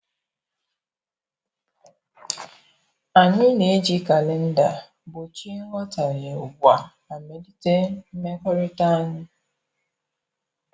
Anyị na eji kalenda gbochie nghọtaghe ugbua ma melite mmekọrịta anyị